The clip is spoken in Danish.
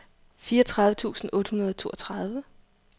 fireogtredive tusind otte hundrede og toogtredive